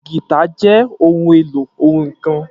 Gìtá jẹ́ ohun èlò orin kan